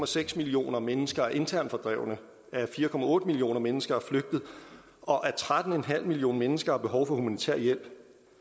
seks millioner mennesker er internt fordrevne at fire millioner mennesker er flygtet og at tretten millioner mennesker har behov for humanitær hjælp